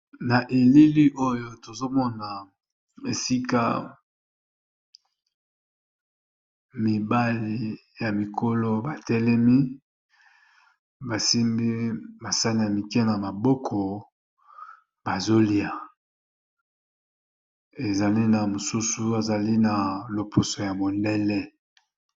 na elili oyo tozomona esika mibali ya mikolo batelemi basimbi masali ya mike na maboko bazolia ezali na mosusu azali na lopuso ya bodele